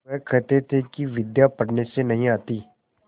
वह कहते थे कि विद्या पढ़ने से नहीं आती